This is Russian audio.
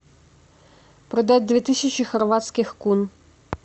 продать две тысячи хорватских кун